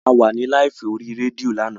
A wà ní láìfù ní orí rédíò lánàá